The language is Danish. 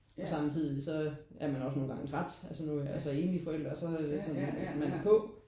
Og samtidig så er man også nogle gange træt. Altså nu er jeg så enlig forældre og så så er man bare på